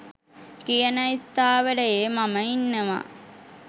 කියන ස්ථාවරයේ මම ඉන්නවා.